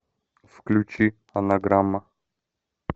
включи анаграмма